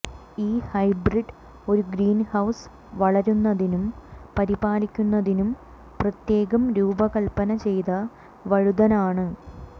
ഈ ഹൈബ്രിഡ് ഒരു ഗ്രീൻഹൌസ് വളരുന്നതിനും പരിപാലിക്കുന്നതിനും പ്രത്യേകം രൂപകൽപന ചെയ്ത വഴുതനാണ്